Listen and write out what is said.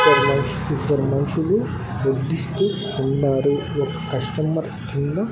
ఇద్దర్ మన్షులు వడ్డిస్తూ ఉన్నారు ఒక కస్టమర్ కింద--